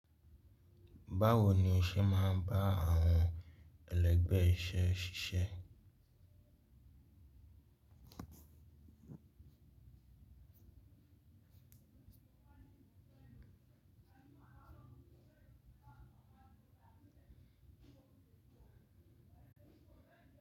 Báwo ni ọsẹ máa n ba awọn ẹlẹgbẹ iṣẹ ṣiṣe.